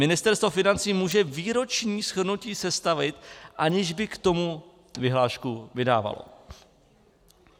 Ministerstvo financí může výroční shrnutí sestavit, aniž by k tomu vyhlášku vydávalo.